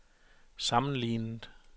sammenlignet